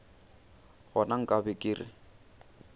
gona nka be ke re